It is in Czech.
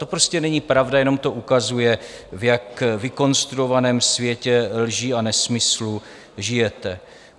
To prostě není pravda, jenom to ukazuje, v jak vykonstruovaném světě lží a nesmyslů žijete.